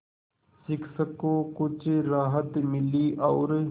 शिक्षक को कुछ राहत मिली और